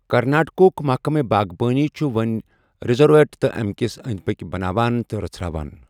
کَرناٹکُک محَکمہٕ باغبٲنی چُھ وونۍ رِیزورٹ تہٕ امِكِس اندۍ پكِۍ بناوان تہٕ رژھران ۔